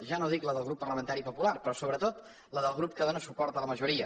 ja no dic la del grup parlamentari popular però sobretot la del grup que dóna suport a la majoria